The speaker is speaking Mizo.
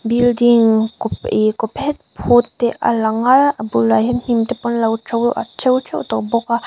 building ih kaw phet phut te a langa a bulah hian hnim te pawh an lo to a to teuh tawh bawk a.